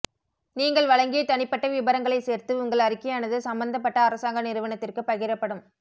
நீங்கள் வழங்கிய தனிப்பட்ட விபரங்களை சேர்த்து உங்கள் அறிக்கையானது சம்பந்தப்பட்ட அரசாங்க நிறுவனத்திற்கு பகிரப்படும்